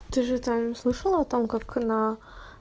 ты же там слышала о том как на